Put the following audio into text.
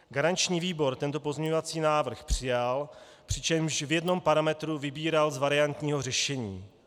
Garanční výbor tento pozměňovací návrh přijal, přičemž v jednom parametru vybíral z variantního řešení.